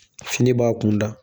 Fini b'a kunda